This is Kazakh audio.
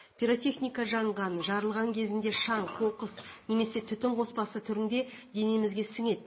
пиротехника жанған жарылған кезінде шаң қоқыс немесе түтін қоспасы түрінде денемізге сіңеді